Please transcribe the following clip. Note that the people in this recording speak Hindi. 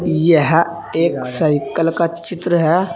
यह एक साइकल का चित्र है।